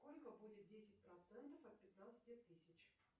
сколько будет десять процентов от пятнадцати тысяч